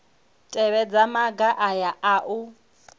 tevhedza maga aya a u